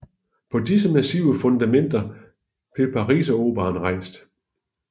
På disse massive fundamenter blev Pariseroperaen rejst